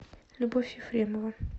любовь ефремова